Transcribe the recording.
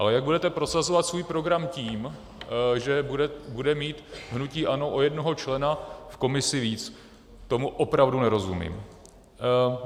Ale jak budete prosazovat svůj program tím, že bude mít hnutí ANO o jednoho člena v komisi více, tomu opravdu nerozumím.